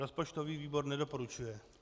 Rozpočtový výbor nedoporučuje.